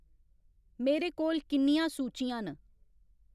मेरे कोल किन्नियां सूचियां न